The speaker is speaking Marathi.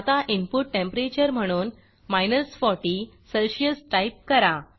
आता इनपुट टेंपरेचर म्हणून 40 सेल्सियस टाईप करा